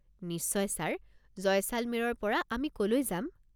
নিশ্চয় ছাৰ, জয়শালমেৰৰ পৰা আমি ক'লৈ যাম?